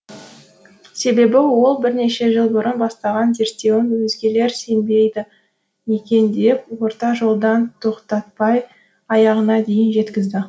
себебі ол бірнеше жыл бұрын бастаған зерттеуін өзгелер сенбейді екен деп орта жолдан тоқтатпай аяғына дейін жеткізді